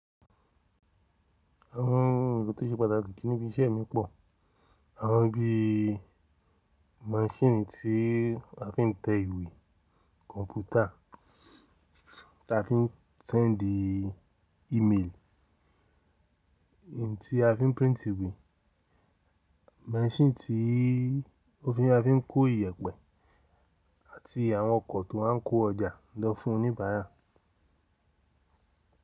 Àwọn ohun èlò tó ṣe pàtàkì níbi iṣẹ́ mi pọ̀, àwọn bí i maṣíìnì tí a fi ń tẹ ìwé, kọ̀mpútà tí a fi ń sẹndi ímeelì, èyí tí a fi ń píìntì ìwé, maṣíìnì tí wọ́n fi ma fi ń kó iyẹ̀pẹ̀ àti àwọn ọkọ̀ tó wa ń kó ọjà lọ fún oníbàárà.